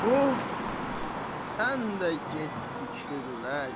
Xub, sən də get fikirləş.